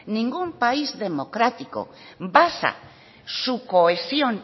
ningún país democrático basa su cohesión